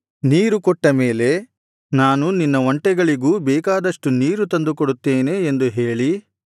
ನೀರು ಕೊಟ್ಟ ಮೇಲೆ ನಾನು ನಿನ್ನ ಒಂಟೆಗಳಿಗೂ ಬೇಕಾದಷ್ಟು ನೀರು ತಂದು ಕೊಡುತ್ತೇನೆ ಎಂದು ಹೇಳಿ